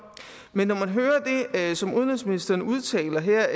men når man hører det som udenrigsministeren udtaler her